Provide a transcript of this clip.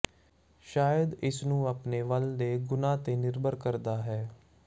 ਸ਼ਾਇਦ ਇਸ ਨੂੰ ਆਪਣੇ ਵਾਲ ਦੇ ਗੁਣਾ ਤੇ ਨਿਰਭਰ ਕਰਦਾ ਹੈ